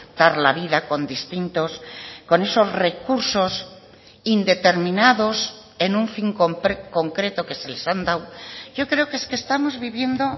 dar la vida con distintos con esos recursos indeterminados en un fin concreto que se les han dado yo creo que es que estamos viviendo